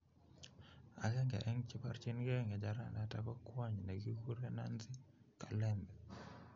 Agenge en che porchin ke ngecheranaton ko kwony ne kikuren Nancy Kalembe.